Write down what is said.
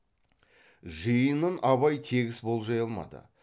жиынын абай тегіс болжай алмады